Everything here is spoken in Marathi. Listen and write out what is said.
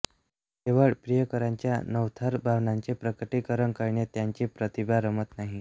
केवळ प्रियकराच्या नवथर भावनांचे प्रकटीकरण करण्यात त्यांची प्रतिभा रमत नाही